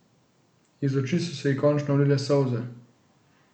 Iz oči so se ji končno ulile solze.